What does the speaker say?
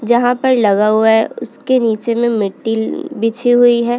जहाँ पर लगा हुआ है उसके नीचे में मिट्टी म-म बिछी हुई है।